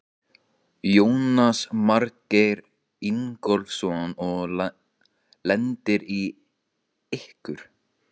Jónas Margeir Ingólfsson: Og lendir í ykkur?